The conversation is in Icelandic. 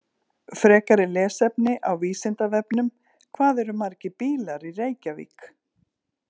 Frekara lesefni á Vísindavefnum: Hvað eru margir bílar í Reykjavík?